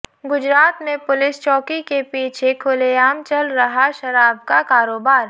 गुजरात में पुलिस चौकी के पीछे खुलेआम चल रहा शराब का कारोबार